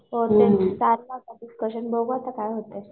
हो हो चाललंय आता डिस्कशन आता बघू काय होतंय.